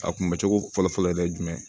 A kunbɛ cogo fɔlɔ fɔlɔ yɛrɛ ye jumɛn ye